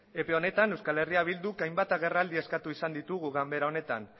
epe honetan eh bilduk hainbat agerraldi eskatu izan ditugu ganbera honetan